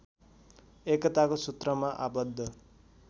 एकताको सुत्रमा आबद्ध